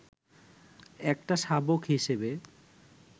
একটা শাবক হিসেবে